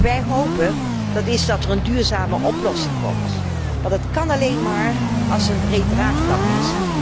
Wij hopen dat er een duurzame oplossing komt, maar dat kan alleen maar als er een breed draagvlak is.